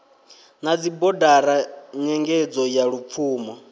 na dzibodara nyengedzo ya lupfumo